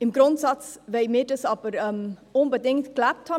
Im Grundsatz wollen wir das aber unbedingt gelebt haben.